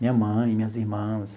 Minha mãe, minhas irmãs.